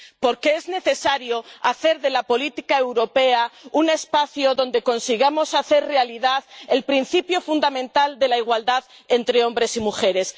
Porque es necesario hacer de la política europea un espacio donde consigamos hacer realidad el principio fundamental de la igualdad entre hombres y mujeres.